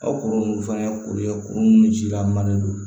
Aw kɔrɔ minnu fana ye kuru ye kuru munnu ji la manden don